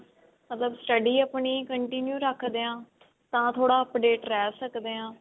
ਮਤਲਬ study ਆਪਣੀ continue ਰੱਖਦੇ ਹਾਂ ਤਾਂ ਥੋੜਾ update ਰਹਿ ਸਕਦੇ ਹਾਂ